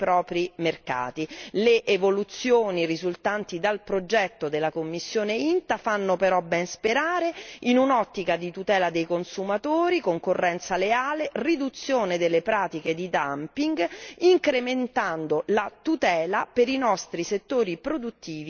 Le evoluzioni risultanti dal progetto della commissione INTA fanno però ben sperare, in un'ottica di tutela dei consumatori, concorrenza leale, riduzione delle pratiche di dumping, incrementando la tutela per i nostri settori produttivi e i nostri prodotti.